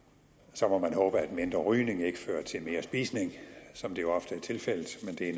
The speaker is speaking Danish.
så må man håbe at mindre rygning ikke fører til mere spisning som det jo ofte er tilfældet